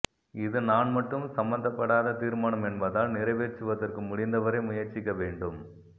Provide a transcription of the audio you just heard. இது நான் மட்டும் சம்பந்தப்படாத தீர்மானம் என்பதால் நிறைவேற்றுவதற்கு முடிந்த வரை முயற்ச்சிக்க வேண்டும்